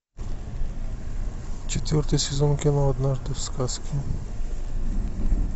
четвертый сезон кино однажды в сказке